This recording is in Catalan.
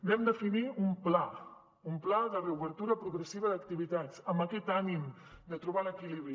vam definir un pla un pla de reobertura progressiva d’activitats amb aquest ànim de trobar l’equilibri